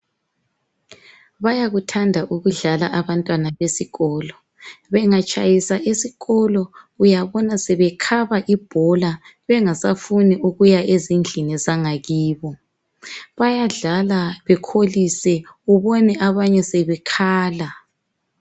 Bayakuthanda ukudlala abantwana besikolo, bengatshayisa esikolo uyabona sebekhaba ibhola bengasafuni ukuya ezindlini zangakibo, bayadlala bekholise ubone abanye sebekhala.